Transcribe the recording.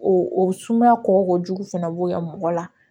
O o sumaya kɔjugu fɛnɛ bɔ mɔgɔ la